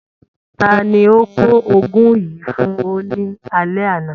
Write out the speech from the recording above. Ta ni ó ko ògùn yìí fún o nì alẹ ana?.